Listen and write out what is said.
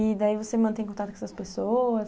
E daí você mantém contato com essas pessoas?